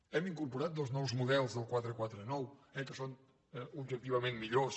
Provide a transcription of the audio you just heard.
hem incorporat dos nous models del quatre cents i quaranta nou eh que són objectivament millors